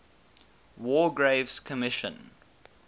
war graves commission